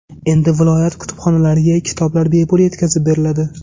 Endi viloyat kutubxonalariga kitoblar bepul yetkazib beriladi.